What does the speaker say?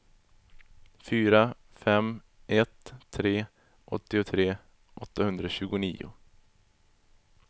fyra fem ett tre åttiotre åttahundratjugonio